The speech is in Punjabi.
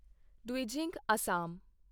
ਦਵਿਜਿੰਗ ਅਸਾਮ